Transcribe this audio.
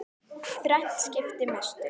Þrennt skipti mestu.